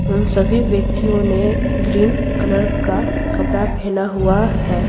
उन सभी व्यक्तियों ने ग्रीन कलर का कपड़ा पहना हुआ है।